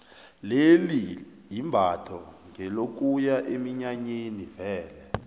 leli imbatho ngelokuya eminyanyeni vele